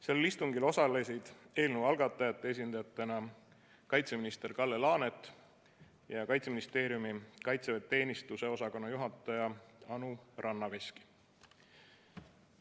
Sellel istungil osalesid eelnõu algataja esindajatena kaitseminister Kalle Laanet ja Kaitseministeeriumi kaitseväeteenistuse osakonna juhataja Anu Rannaveski.